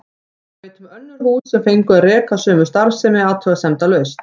Ég veit um önnur hús sem fengu að reka sömu starfsemi athugasemdalaust.